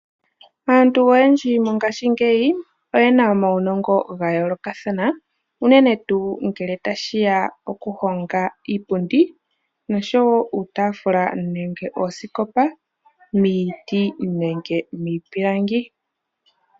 Aantu oyendji mongashingeyi oyena omaunongo gayoolokathana unene tuu ngele tashi ya pokuhonga iipundi noshowoo uutaafula nuusikopa muutaafula nenge miipilangi.